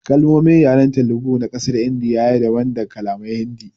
Kalmomin yaren Telugu na kasar india ya yi daban da kalaman Hindi.